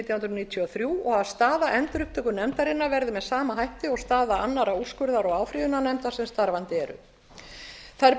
hundruð níutíu og þrjú og að staða endurupptökunefndarinnar verði með sama hætti og staða annarra úrskurðar og áfrýjunarnefnda sem starfandi eru þær